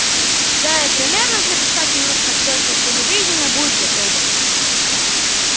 да и примерно через пять минут как только телевидение будет готово